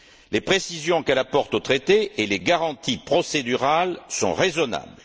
Les précisions qu'elle apporte au traité et les garanties procédurales sont raisonnables.